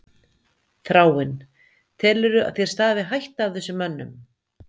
Þráinn: Telurðu að þér stafi hætta af þessum mönnum?